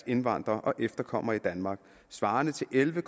indvandrere og efterkommere i danmark svarende til elleve